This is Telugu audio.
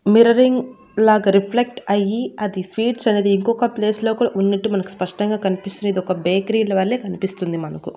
మిర్రరింగ్ లాగా రిఫ్లెక్ట్ అయ్యి అది స్వీట్స్ అనేది ఉంకొక ప్లేస్ లో కూడా ఉన్నట్టు మనకు స్పష్టంగా కన్పిస్తుంది ఇది ఒక బేకరీల వలె కనిపిస్తుంది మనకు.